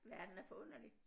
Verden er forunderlig